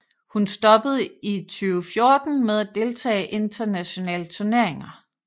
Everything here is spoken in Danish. Hun stoppede i 2014 med at deltage internationale turneringer